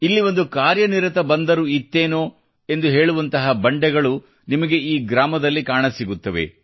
ಇಲ್ಲಿ ಒಂದು ಕಾರ್ಯ ನಿರತ ಬಂದರು ಇತ್ತೇನೋ ಎಂದು ಹೇಳುವಂತಹ ಬಂಡೆಗಳು ನಿಮಗೆ ಈ ಗ್ರಾಮದಲ್ಲಿ ಕಾಣಸಿಗುತ್ತವೆ